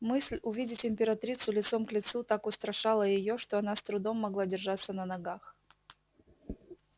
мысль увидеть императрицу лицом к лицу так устрашала её что она с трудом могла держаться на ногах